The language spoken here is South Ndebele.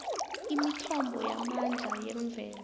imithombo yamandla yemvelo